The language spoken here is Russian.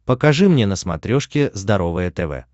покажи мне на смотрешке здоровое тв